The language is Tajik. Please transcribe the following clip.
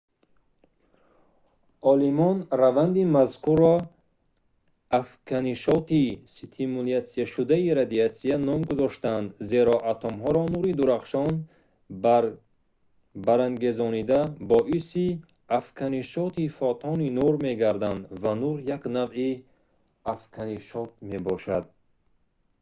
олимон раванди мазкурро «афканишоти стимулятсияшудаи радиатсия» ном гузоштаанд зеро атомҳоро нури дурахшон барангезонида боиси афканишоти фотони нур мегардад ва нур як навъи афканишот мебошад